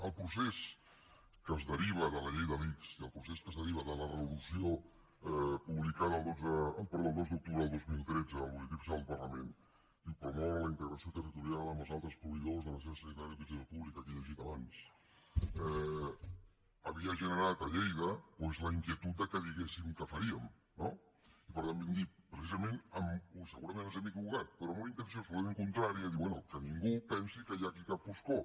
el procés que es deriva de la llei de l’ics i el procés que es deriva de la resolució publicada el dos d’octubre del dos mil tretze al butlletí oficial del parlament promoure la integració territorial amb els altres proveïdors de la xarxa sanitària d’utilització pública que he llegit abans havia generat a lleida doncs la inquietud que diguéssim què faríem no i per tant vam dir precisament segurament ens hem equivocat però amb una intenció absolutament contrària bé que ningú pensi que hi ha aquí cap foscor